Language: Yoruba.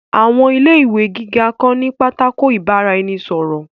Àwọn ilé ìwé gíga kan ní pátákó ìbára-ẹni-sọ̀rọ̀